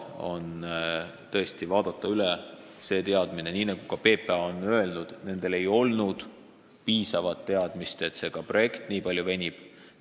Nagu PPA on öelnud: neil ei olnud teadmist, et see projekt võib nii palju venida.